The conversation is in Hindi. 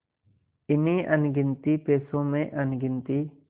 इन्हीं अनगिनती पैसों में अनगिनती